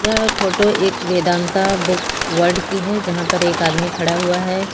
यह फोटो एक Vedanta book world की है जहां पर एक आदमी खड़ा हुआ है।